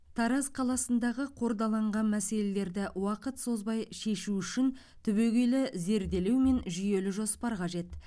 тараз қаласындағы қордаланған мәселелерді уақыт созбай шешу үшін түбегейлі зерделеу мен жүйелі жоспар қажет